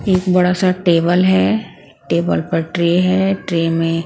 एक बड़ा सा टेबल है टेबल पर ट्रे है ट्रे में--